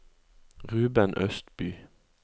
Ruben Østby